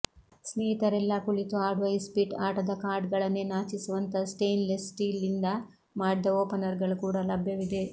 ಸ್ನೇಹಿತರೆಲ್ಲಾ ಕುಳಿತು ಆಡುವ ಇಸ್ಪೀಟ್ ಆಟದ ಕಾರ್ಡ್ಗಳನ್ನೇ ನಾಚಿಸುವಂಥ ಸ್ಟೇನ್ಲೆಸ್ ಸ್ಟೀಲ್ನಿಂದ ಮಾಡಿದ ಓಪನರ್ಗಳು ಕೂಡ ಲಭ್ಯವಿವೆ